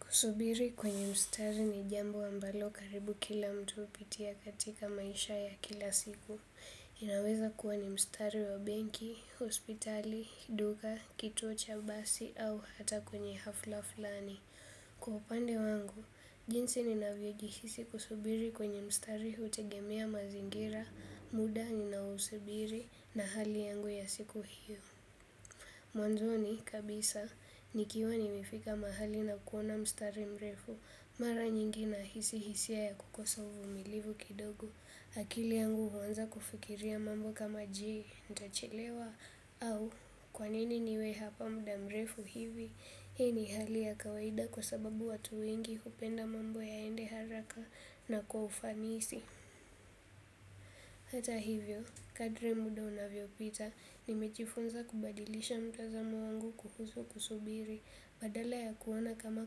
Kusubiri kwenye mstari ni jambo ambalo karibu kila mtu upitia katika maisha ya kila siku. Inaweza kuwa ni mstari wa benki hospitali duka kituo cha basi au hata kwenye hafla flani. Kupande wangu, jinsi ni navyejisi kusubiri kwenye mstari hutegemea mazingira, muda ni nausubiri na hali yangu ya siku hiyo. Mwanzo ni kabisa, nikiwa ni mefika mahali na kuona mstari mrefu, mara nyingi na hisi hisia ya kukosa uvumilivu kidogo, akili yangu huwanza kufikiria mambo kama jii, ndachilewa, au kwa nini niwe hapa muda mrefu hivi, hii ni hali ya kawaida kwa sababu watu wengi kupenda mambo yaende haraka na kwa ufanisi. Hata hivyo, kadri muda unavyo pita, nimechifunza kubadilisha mtazamo wangu kuhusu kusubiri, badala ya kuwana kama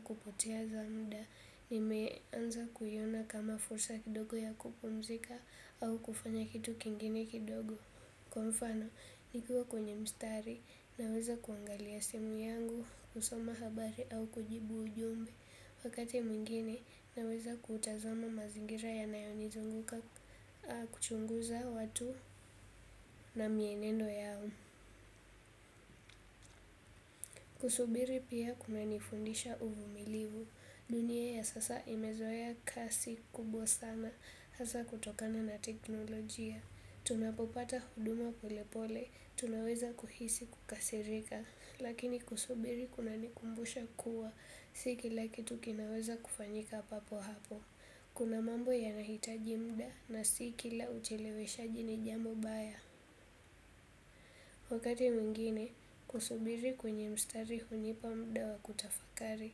kupoteza muda, nimeanza kuyuna kama fursa kidogo ya kupomzika au kufanya kitu kingine kidogo. Kwa mfano, nikiwa kwenye mstari, naweza kuangalia simu yangu, usoma habari au kujibu ujumbe, wakati mwingine, naweza kutazoma mazingira ya nayoni zunguka kuchunguza watu na mienendo yao. Kusubiri pia kuna nifundisha uvumilivu. Dunia ya sasa imezoea kasi kubwa sana hasa kutokana na teknolojia. Tunapopata huduma polepole. Tunaweza kuhisi kukasirika. Lakini kusubiri kunanikumbusha kuwa. Siki laki tukinaweza kufanyika papo hapo. Kuna mambo yanahitaji muda na siki la uchelewe shaji ni jambo baya. Wakati mwingine, kusubiri kwenye mstari hunipa muda wa kutafakari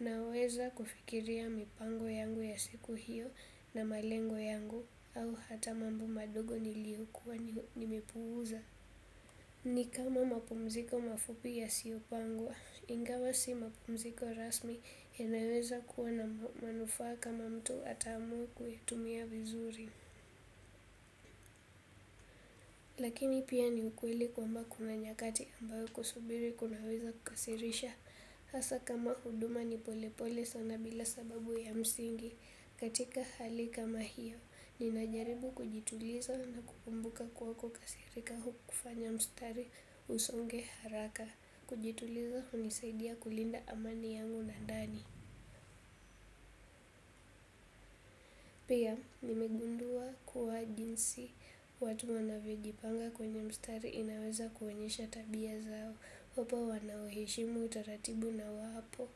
na weza kufikiria mipango yangu ya siku hiyo na malengo yangu au hata mambu madogo niliyukuwa nimepuuza. Ni kama mapumziko mafupi yasiopangwa ingawa si mapumziko rasmi inaweze kuwa na manufaa makubwa kama mtu ataweza kuutumia vizuri. Lakini pia ni ukweli kwamba kuna nyakati ambayo kusubiri kunaweza kukasirisha. Hasa kama huduma ni pole pole sana bila sababu ya msingi katika hali kama hiyo. Ninajaribu kujituliza na kukumbuka kwa kukasirika hu kufanya mstari usonge haraka. Kujituliza hunisaidia kulinda amani yangu na ndani. Pia, nimegundua kuwa jinsi, watu wanavyojipanga kwenye mstari inaweza kuwenyesha tabia zao, wapa wanaweshimu utaratibu na wapo,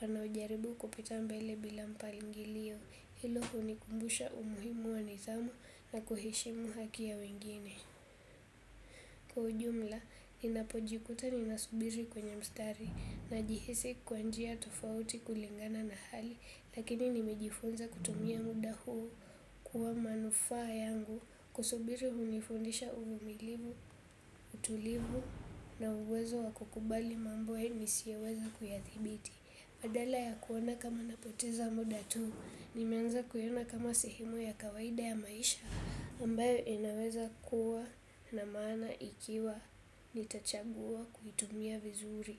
wanaojaribu kupita mbele bila mpalingilio, ilo hunikumbusha umuhimu wanithamu na kuheshimu hakia wengine. Kwa ujumla, ninapojikuta ninasubiri kwenye mstari na jihisi kwanjia tofauti kulingana na hali, lakini nimejifunza kutumia muda huu kuwa manufaa yangu, kusubiri unifundisha uvumilivu, utulivu na uwezo wa kukubali mambo nisiyoweza kuyathibiti. Badala ya kuona kama napoteza mudatu ni menza kuyuna kama sihimu ya kawaida ya maisha ambayo inaweza kuwa na maana ikiwa nitachagua kuitumi vizuri.